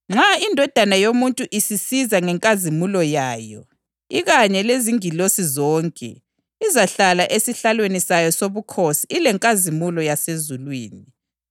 Manje-ke, iphoseni ngaphandle inceku engelamsebenzi, ebumnyameni lapho okuzakuba khona ukukhala lokugedla kwamazinyo.’ ” Izimvu Lembuzi